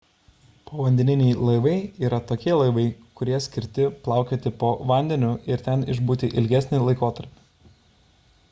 povandeniniai laivai yra tokie laivai kurie skirti plaukioti po vandeniu ir ten išbūti ilgesnį laikotarpį